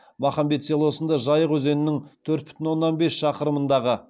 махамбет селосында жайық өзенінің төрт бүтін оннан бес шақырымындағы